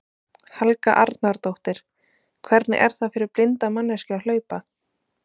Helga Arnardóttir: Hvernig er það fyrir blinda manneskju að hlaupa?